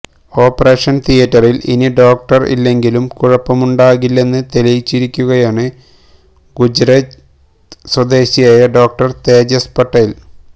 operation തിയേറ്ററില് ഇനി doctor ഇല്ലെങ്കിലും കുഴപ്പമുണ്ടാകില്ലെന്ന് തെളിയിച്ചിരിക്കുകയാണ് ഗുജറാത്ത് സ്വദേശിയായ ഡോക്ടര് തേജസ് പട്ടേല്